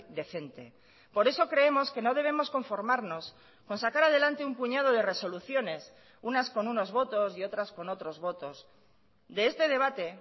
decente por eso creemos que no debemos conformarnos con sacar adelante un puñado de resoluciones unas con unos votos y otras con otros votos de este debate